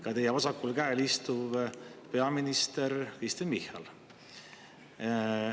Ka teie vasakul käel istuv peaminister Kristen Michal.